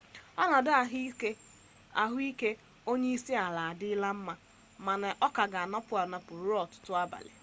ọnọdụ ahụike onyeisiala adịla mma mana ọ ka ga-anọpụ anọpụ ruo ọtụtụ abalị